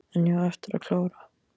En ég á eftir að klára.